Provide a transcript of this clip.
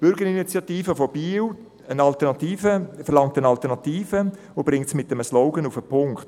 Das Komitee «Westast – so nicht!» verlangt eine Alternative und bringt es mit einem Slogan auf den Punkt: